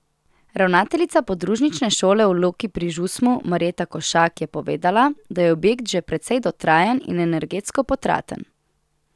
Ravnateljica podružnične šole v Loki pri Žusmu Marjeta Košak je povedala, da je objekt že precej dotrajan in energetsko potraten.